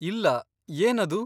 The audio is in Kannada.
ಇಲ್ಲ, ಏನದು?